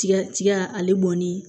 Tiga tiga ale bɔnni